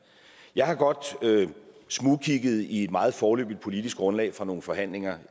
jeg har godt smugkigget i et meget foreløbigt politisk grundlag fra nogle forhandlinger